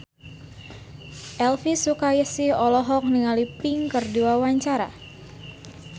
Elvy Sukaesih olohok ningali Pink keur diwawancara